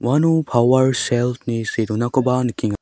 uano pawer selt ni see donakoba nikeng--